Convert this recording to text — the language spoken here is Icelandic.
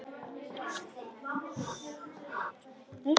Júlía þagnar.